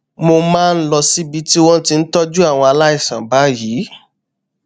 mo máa ń lọ síbi tí wón ti ń tójú àwọn aláìsàn báyìí